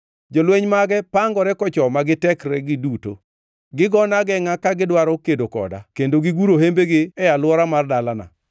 Jolweny mage pangore kochoma gi tekregi duto; gigona agengʼa ka gidwaro kedo koda, kendo giguro hembegi e alwora mar dalana.